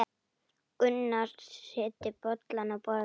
Gunnar setti bollana á borðið.